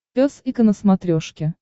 пес и ко на смотрешке